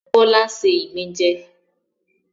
Bọ́lá ṣé ìgbín jẹ